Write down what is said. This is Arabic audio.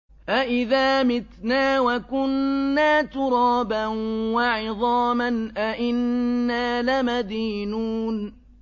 أَإِذَا مِتْنَا وَكُنَّا تُرَابًا وَعِظَامًا أَإِنَّا لَمَدِينُونَ